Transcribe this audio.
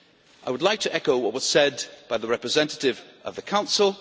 I would like to echo what was said by the representative of the Council.